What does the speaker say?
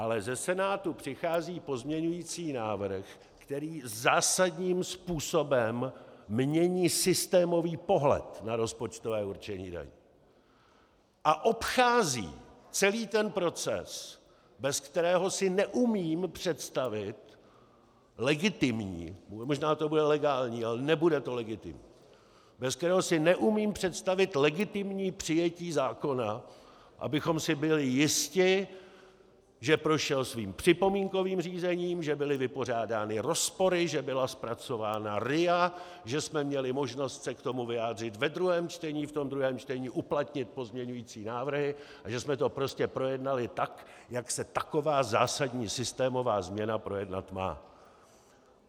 Ale ze Senátu přichází pozměňující návrh, který zásadním způsobem mění systémový pohled na rozpočtové určení daní a obchází celý ten proces, bez kterého si neumím představit legitimní - možná to bude legální, ale nebude to legitimní - bez kterého si neumím představit legitimní přijetí zákona, abychom si byli jisti, že prošel svým připomínkovým řízením, že byly vypořádány rozpory, že byla zpracována RIA, že jsme měli možnost se k tomu vyjádřit ve druhém čtení, v tom druhém čtení uplatnit pozměňující návrhy a že jsme to prostě projednali tak, jak se taková zásadní systémová změna projednat má.